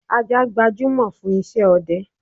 Ajá gbajúmọ̀ fún isẹ́ ọdẹ